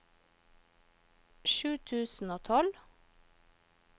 sju tusen og tolv